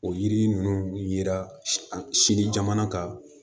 O yiri ninnu yera sini jamana kan